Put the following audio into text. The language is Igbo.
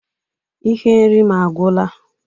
Ihe nri m agwụla